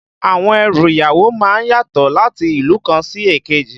Àwọn ẹrù ìyàwó má ń yàtọ̀ láti ìlú kan sí èkejì